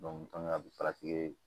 a bɛ